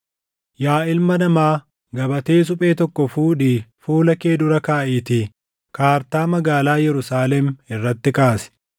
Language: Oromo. “Yaa ilma namaa, gabatee suphee tokko fuudhii fuula kee dura kaaʼiitii kaartaa magaalaa Yerusaalem irratti kaasi.